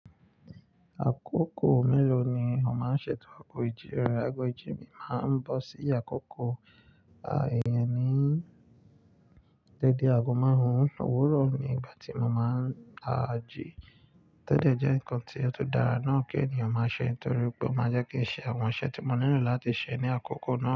Àkókò mélòó ni ó máa ń ṣètò ago ìji re? Ago ìji máa ń bọ́ si àkoko eeyàn ní dede ago márùn-ún òwúrọ̀ ni ìgbà tí mo máa ń ji. Tode jẹ́ nǹkan tí ó tun dára náà kí ènìyàn máa ṣe torí pé ó máa jẹ́ kí n ṣe àwọn iṣẹ́ tí mo nílò láti ṣe ní àkókò náà.